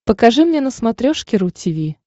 покажи мне на смотрешке ру ти ви